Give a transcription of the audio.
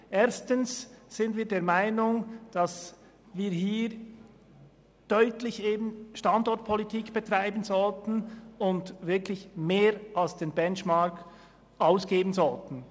Erstens sind wir der Meinung, dass wir hier eine deutliche Standortpolitik betreiben und mehr als den Benchmark ausgeben sollten.